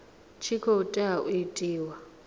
tshi khou tea u itiwa